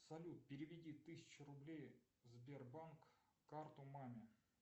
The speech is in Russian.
салют переведи тысячу рублей сбербанк карту маме